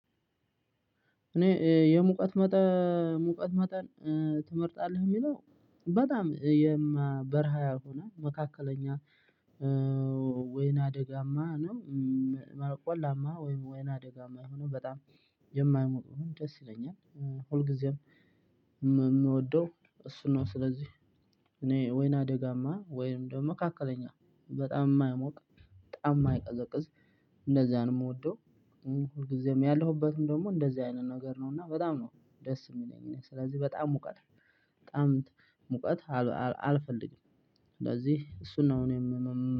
እኔ የሙቀት መጠን ሙቀት መጠን ትመርጣለህ? የሚለው በጣም በረሃ ያልሆነ መካከለኛ ወይና አደጋማ ነው ቆላማ ወይናደጋማ የሆነው በጣም የማይሞቅን ደስ ይለኛል ሁልጊዜም የምወደው እሱ ነው። ስለዚህ እኔ ወይን አደጋማ ወይንም ደግሞ መካከለኛ በጣም የማይሞቅ በጣም የማይቀዘቅዝ እንደዚህ አይነት የምወደው። ሁልጊዜም ያለሁበትም ደግሞ እንደዚህ አይነት ነገር ነው። እና በጣም ነው ደስ የሚለኝ እኔ ስለዚህ በጣም ሙቀት ነው። በጣም ሙቀት አልፈልግም። ስለዚህ እሱን ነው እኔም